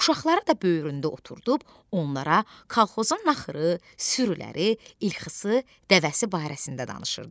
Uşaqları da böyründə oturdub onlara kolxozun naxırı, sürüləri, ilxısı, dəvəsi barəsində danışırdı.